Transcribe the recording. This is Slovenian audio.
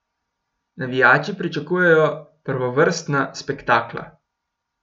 Navijači pričakujejo prvovrstna spektakla.